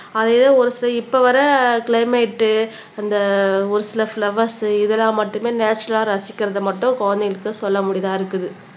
அதே தான் ஒரு இப்ப வரை கிளைமேட் அந்த ஒரு சில பிலோவேர்ஸ் இதெல்லாம் மட்டுமே நேச்சரல்லா ரசிக்கிறது மட்டும் குழந்தைகளுக்கு சொல்லக்கூடியதா இருக்குது